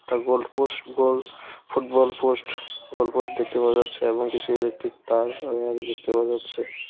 একটা goal post goal football post goal post দেখতে পাওয়া যাচ্ছে এবং কিছু ইলেকট্রিক তার ওয়ার দেখতে পাওয়া যাচ্ছে।